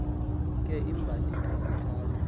ke imbali kazikhali